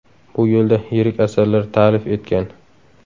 Bu yo‘lda yirik asarlar ta’lif etgan.